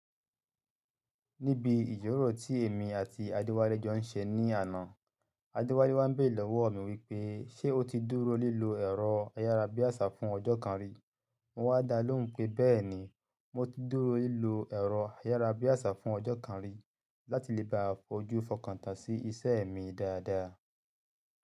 Níbi ìjíròrò tí èmi àti Adéwálé jọ ń ṣe ní àná, Adéwálé wá ń béèrè lọ́wọ́ mi wípé, ṣé o ti dúró lílo ẹ̀rọ ayárabíàṣá fún ọjọ́ kan rí? Mo wá dalóhùn pé, bẹ́ẹ̀ni, mo ti dúró lílo ẹ̀rọ ayárabíàṣá fún ọjọ́ kan rí láti lè bá a fojú fọkàn tán sí iṣẹ́ mi dáadáa.